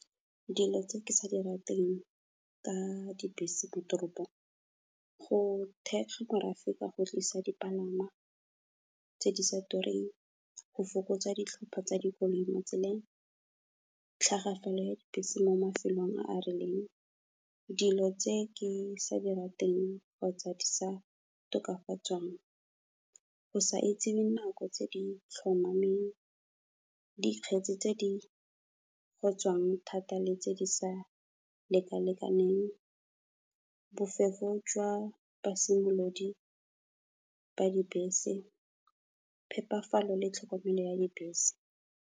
Dilo tse ke sa di rateng ka dibese mo toropong, go thekga morafe ka go tlisa dipalangwa tse di sa tureng, go fokotsa ditlhopo tsa dikoloi mo tseleng, tlhagafalo ya dibese mo mafelong a a rileng. Dilo tse ke sa di rateng kgotsa di sa tokafatswang, go sa itse dinako tse di tlhomameng, dikgetsi tse di gotswang thata le tse di sa lekalekaneng, bofefo jwa basimolodi ba dibese, phepafalo le tlhokomelo ya dibese.